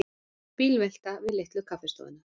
Bílvelta við Litlu kaffistofuna